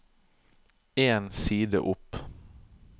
En side opp